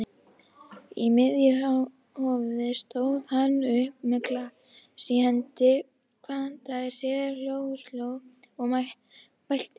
Í miðju hófi stóð hann upp með glas í hendi, kvaddi sér hljóðs og mælti